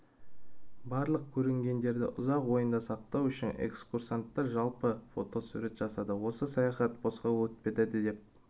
барлық көрінгендерді ұзақ ойында сақтау үшін экскурсанттар жалпы фотосүрет жасады осы саяхат босқа өтпейді деп